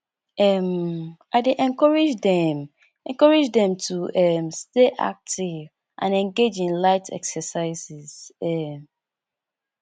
um i dey encourage dem encourage dem to um stay active and engage in light exercises um